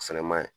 O fɛnɛ ma ɲi